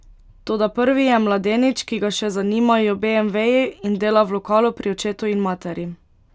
Toda prvi je mladenič, ki ga še zanimajo beemveji in dela v lokalu pri očetu in materi.